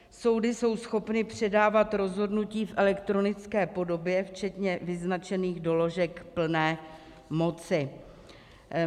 Soudy jsou schopny předávat rozhodnutí v elektronické podobě včetně vyznačených doložek plné moci.